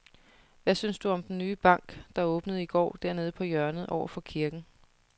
Hvad synes du om den nye bank, der åbnede i går dernede på hjørnet over for kirken?